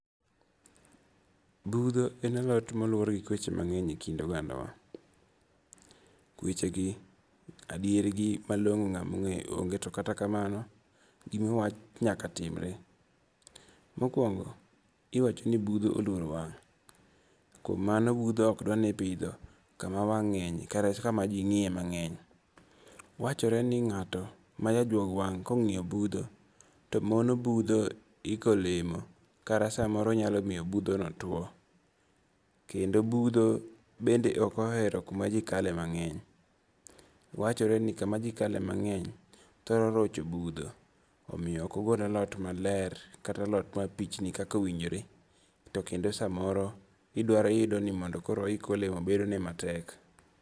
Butho en alot ma luwore gi kweche mangeny e kind odangawa, kwechegi adierigi malongo' to nga'ma onge'yo onge' to kata kamano gima owach nyaka timre. Mokuongo' iwacho ni butho oluoro wang', kuom mano butho okdwani ipitho kama wang' nge'nye kata kama ji ngi'ye mange'ny, wachore ni nga'to majajuog wang' kongi'yo butho to mono butho iko olemo kata samoro nyalo miyo buthono two, kendo butho bende okohero kumajikale mange'ny, wachore ni kumajikale mange'ny thoro rocho butho omiyo okogol alot maler kata alot mapichni kaka owinjore to kendo samoro kidwaro yudo ni mondo koro ohiki olemo bedone matek.